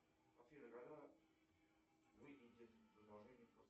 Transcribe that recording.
афина когда выйдет продолжение